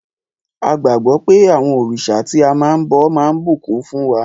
A gbàgbọ́ pé àwọn òrìṣà tí a máa ń bọ máa bùkún fún wa.